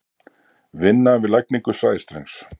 Vinna við lagningu sæstrengs.